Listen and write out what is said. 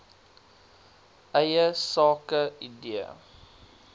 eie sake idee